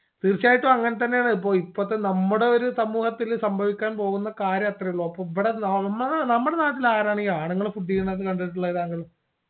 തീർച്ചയായിട്ടും അങ്ങനെത്തന്നെയാണ് ഇപ്പോ ഇപ്പത്തെ നമ്മുടെ ഒരു സമൂഹത്തില് സംഭവിക്കാൻ പോകുന്ന കാര്യം അത്രയേ ഉള്ളൂ അപ്പോ ഇവടെ നമ്മള് നമ്മുടെ നാട്ടില് ആരാണ് ഈ ആണുങ്ങൾ food ചെയ്യുന്നത് കണ്ടിട്ടുള്ളത് താങ്കൾ